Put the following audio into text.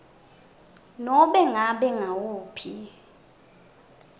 nobe ngabe nguwuphi